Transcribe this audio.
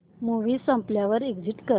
movie संपल्यावर exit कर